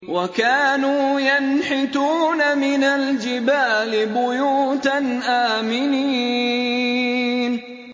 وَكَانُوا يَنْحِتُونَ مِنَ الْجِبَالِ بُيُوتًا آمِنِينَ